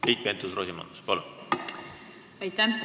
Keit Pentus-Rosimannus, palun!